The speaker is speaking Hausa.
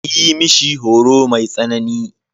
A yi mishi horo mai tsanani.